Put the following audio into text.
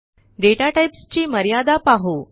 डेटाटाईप्सची मर्यादा पाहू